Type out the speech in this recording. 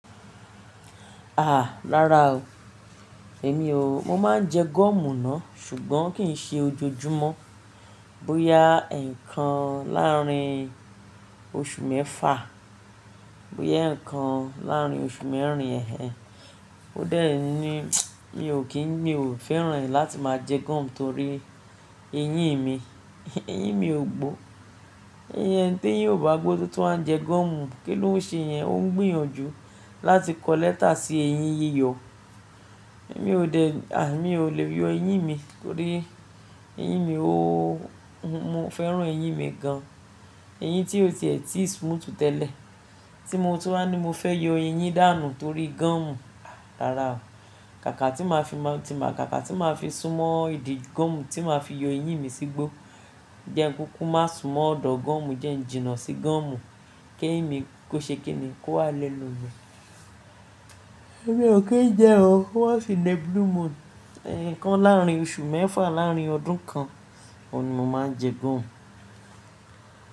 Aà, rárá o. Èmi ò, mo ma n jẹ gum náà ṣùgbọ́n kì í ṣe ojoojúmọ́. Bóyá e n kan láàárín oṣù mẹ́fà, bóyá e n kan láàárín oṣù mẹ́rin eh en. Ó dé ní mi ò kí n mi ò fẹ́ràn láti máa jẹ gum torí eyín mi, eyín mi ò gbó. Eyín ẹnití eyín ò bá gbó tó tún waa jẹ gum, kí ló ń ṣe yẹn? Ó ń gbìyànjú láti kọ lẹ́tà sí eyín yíyọ. Èmi ò dẹ̀, à mi ò le yọ eyín mi torí eyín mi ó, mo fẹ́ràn eyín mi gan. Eyín tí ó ti ẹ̀ ti smooth tẹ́lẹ̀ tí mo tún á ní mo fẹ́ yọ eyín dànù torí gum. Aà, rárá o. Kàkà tí màá fi máa tí màá kàkà tí màá fi súnmọ́ ìdí gum tí màá fi yọ eyín mi sígbó. Jẹ nkúkú má súnmọ́ ọ̀dọ̀ gum, jẹ ń jìnnà sí gum kí eyín mi kó ṣe kí ni kó wá lẹ́nu mi. Èmi ò kí n jẹ o. Once in a blue moon, ẹ̀ ǹkan láàárín oṣù mẹ́fà láàárín ọdún kan ni mo ma n jẹ gum.